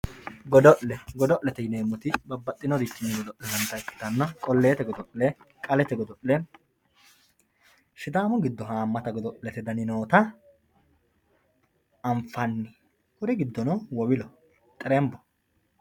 Godo`le babaxinorini godolinanit godo`le noota ikitana qoleete godole qalete godo`le sidaamu giddo haamata godolete dani noota anfani kuri gidono wowilo xerenbo.